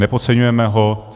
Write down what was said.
Nepodceňujeme ho.